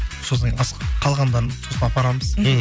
сосын қалғандарын сосын апарамыз мхм